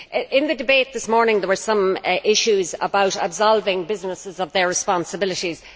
In the debate this morning there were some issues about absolving businesses of their responsibilities.